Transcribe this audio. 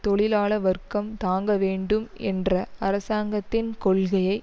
தொழிலாள வர்க்கம் தாங்க வேண்டும் ஏன்ற அரசாங்கத்தின் கொள்கையை